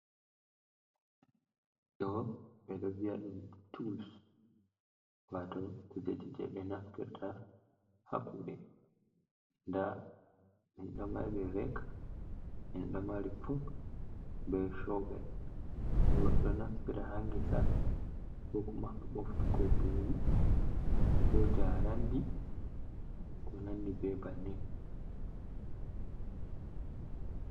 Ɗo ɓe ɗo vi’a ɗum tols wato kujeji jei ɓe naftirta ha kuuɗe. Nda min ɗo mari rek, min do mari fok, be showvel ɗo naftira ha ngesa ko kuma ha boftugo mburi ko njarandi ko nandi be bannin.